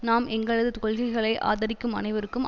நாம் எங்களது கொள்கைகளை ஆதரிக்கும் அனைவருக்கும்